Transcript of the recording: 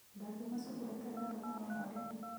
Ndangiuma cukuru atarĩ na rũtha rwa mwarimũ.